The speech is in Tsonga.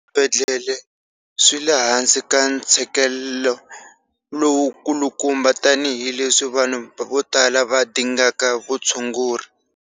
Swibedhlele swi le hansi ka ntshikelelo lowukulukumba tanihileswi vanhu vo tala va dingaka vutshunguri.